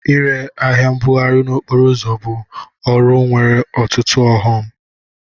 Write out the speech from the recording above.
Ire ahịa mbugharị n'okporo ụzọ bụ ọrụ nwere ọtụtụ ọghọm.